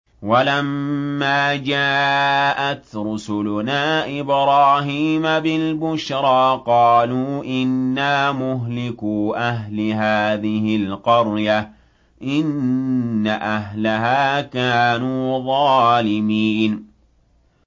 وَلَمَّا جَاءَتْ رُسُلُنَا إِبْرَاهِيمَ بِالْبُشْرَىٰ قَالُوا إِنَّا مُهْلِكُو أَهْلِ هَٰذِهِ الْقَرْيَةِ ۖ إِنَّ أَهْلَهَا كَانُوا ظَالِمِينَ